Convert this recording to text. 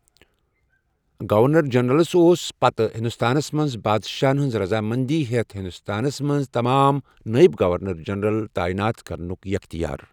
Governor جنرلس اوس پتہٕ ہِندوستانس منز بادشاہن ہنز رضا مندی ہیتھ ہِندوستانس منٛز تمام نٲیب گونر جنرل تاینات كرنک یختیار ۔